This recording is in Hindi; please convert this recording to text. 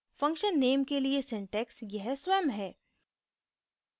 function नेम के लिए syntax यह स्वयं है